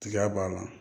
Tiga b'a la